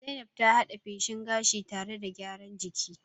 Zainab ta had'e feshin gashi tare da gyaran jiki.